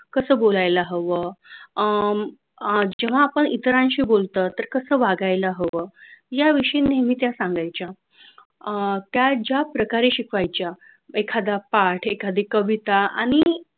कसं बोलायला हव अं अह जेव्हा आपण इतरांशी बोलतो तर कसं वागायला हवं याविषयी नेहमी त्या सांगायच्या. अह त्या ज्याप्रकारे शिकवायच्या एखादा पाठ एखादी कविता आणि